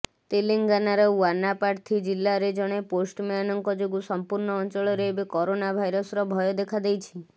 ତେଲେଙ୍ଗାନାର ୱାନାପାର୍ଥୀ ଜିଲ୍ଲାରେ ଜଣେ ପୋଷ୍ଟମ୍ୟାନଙ୍କ ଯୋଗୁ ସମ୍ପୂର୍ଣ୍ଣ ଅଞ୍ଚଳରେ ଏବେ କରୋନା ଭାଇରସର ଭୟ ଦେଖାଦେଇଛି